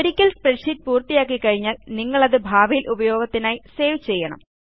ഒരിക്കൽ സ്പ്രെഡ്ഷീറ്റ് പൂർത്തിയാക്കിക്കഴിഞ്ഞാൽ നിങ്ങളത് ഭാവിയിൽ ഉപയോഗത്തിനായി സേവ് ചെയ്യണം